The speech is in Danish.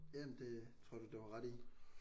Ja ja men det tror jeg da du har ret i